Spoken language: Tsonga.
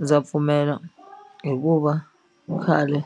Ndza pfumela hikuva khale